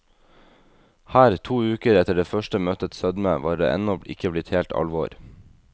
Her, to uker etter det første møtets sødme, var det ennå ikke blitt helt alvor.